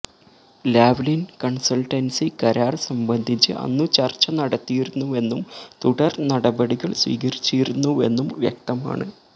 Lavalin consultancy കരാര് സംബന്ധിച്ച് അന്നു ചര്ച്ച നടത്തിയിരുന്നുവെന്നും തുടര്നടപടികള് സ്വീകരിച്ചിരുന്നുവെന്നും വ്യക്തമാണ്